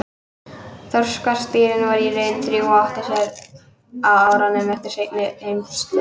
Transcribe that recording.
Þorskastríðin voru í raun þrjú og áttu sér stað á árunum eftir seinni heimsstyrjöld.